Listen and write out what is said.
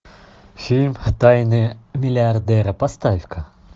фильм тайные миллиардеры поставь ка